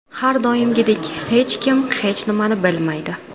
Har doimgidek hech kim hech nimani bilmaydi.